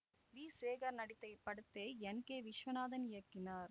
we Sekar நடித்த இப்படத்தை N K Viswanathan இயக்கினார்